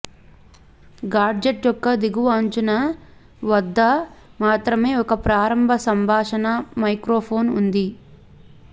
gadget యొక్క దిగువ అంచున వద్ద మాత్రమే ఒక ప్రారంభ సంభాషణా మైక్రోఫోన్ ఉంది